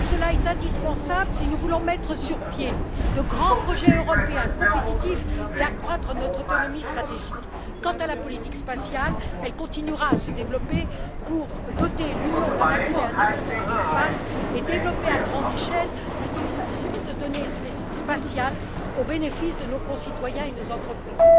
Cela est indispensable si nous voulons mettre sur pied de grands projets européens compétitifs et accroître notre autonomie stratégique. Quant à la politique spatiale, elle continuera à se développer pour doter l'Union d'un accès indépendant à l'espace et développer à grande échelle l'utilisation de données spatiales au bénéfice de nos concitoyens et de nos entreprises.